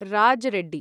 Raj Reddy